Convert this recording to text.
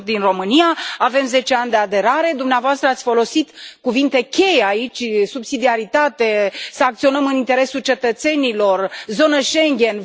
Eu sunt din România, avem 10 ani de aderare, dumneavoastră ați folosit cuvinte cheie aici subsidiaritate, să acționăm în interesul cetățenilor, zonă Schengen.